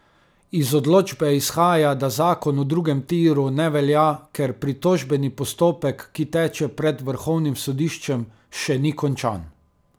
Iz odločbe izhaja, da zakon o drugem tiru ne velja, ker pritožbeni postopek, ki teče pred vrhovnim sodiščem, še ni končan.